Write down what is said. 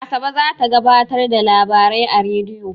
Asabe za ta gabatar da labarai a rediyo.